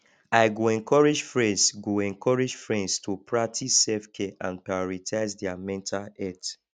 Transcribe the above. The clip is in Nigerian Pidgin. i go encourage friends go encourage friends to practice selfcare and prioritize their mental health